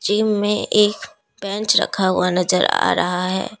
Gym में एक bench रखा हुआ नजर आ रहा है।